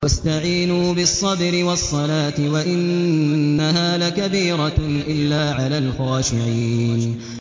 وَاسْتَعِينُوا بِالصَّبْرِ وَالصَّلَاةِ ۚ وَإِنَّهَا لَكَبِيرَةٌ إِلَّا عَلَى الْخَاشِعِينَ